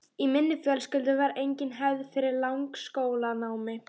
Í minni fjölskyldu var engin hefð fyrir langskólanámi.